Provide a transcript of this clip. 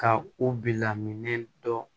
Ka u bila minɛn dɔ